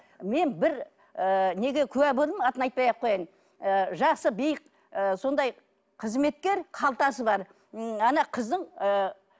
мен бір ы неге куә болдым атын айтпай ақ қояйын ы жасы биік ы сондай ы сондай қызметкер қалтасы бар ммм ана қыздың ы